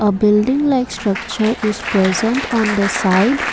building like structure is present on the side.